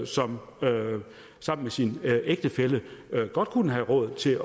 som sammen med sin ægtefælle godt kunne have råd til at